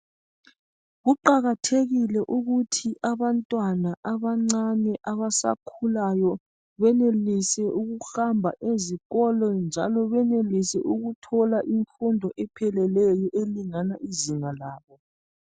Kuqakathekile ukuthi abantwana abancane abasakhulayo benelise ukuhamba ezikolo njalo benelise ukuthola imfundo epheleleyo elingana izinga labo.